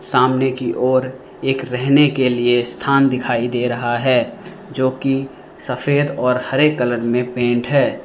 सामने की ओर एक रहने के लिए स्थान दिखाई दे रहा है जो की सफेद और हरे कलर में पेंट है।